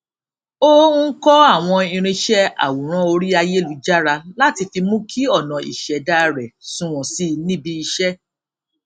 ó ń kọ àwọn irinṣẹ àwòrán orí ayélujára láti fi mú kí ọnà ìṣẹdá rẹ sunwọn sí i níbi iṣẹ